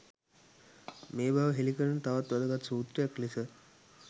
මේ බව හෙළි කරන තවත් වැදගත් සූත්‍රයක් ලෙස